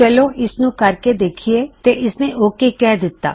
ਚਲੋ ਇਸਨੂੰ ਕਰਕੇ ਵੇਖਿਏ ਤੇ ਇਸਨੇਂ ਓਕ ਕਿਹ ਦਿੱਤਾ